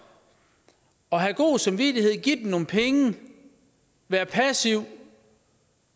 at have god samvittighed give dem nogle penge være passiv